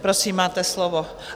Prosím, máte slovo.